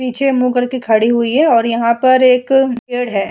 पीछे मुह करके खड़ी हुई है और यहाँ पर एक पेड़ है।